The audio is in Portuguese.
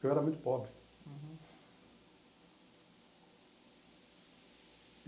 Eu era muito pobre.